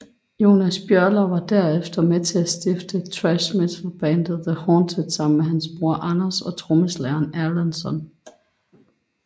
Jonas Björler var derefter med til at stifte thrash metalbandet The Haunted sammen med hans bror Anders og trommeslageren Erlandsson